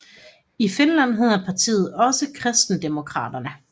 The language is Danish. I Finland hedder partiet også Kristdemokraterna